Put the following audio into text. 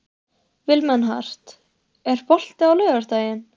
Vilmenhart, er bolti á laugardaginn?